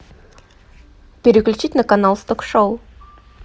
переключить на канал с ток шоу